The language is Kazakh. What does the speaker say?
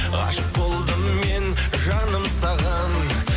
ғашық болдым мен жаным саған